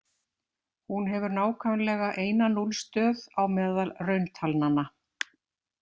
Hún hefur nákvæmlega eina núllstöð á meðal rauntalnanna.